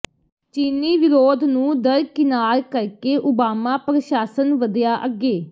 ਚੀਨੀ ਵਿਰੋਧ ਨੂੰ ਦਰਕਿਨਾਰ ਕਰਕੇ ਓਬਾਮਾ ਪ੍ਰਸ਼ਾਸਨ ਵਧਿਆ ਅੱਗੇ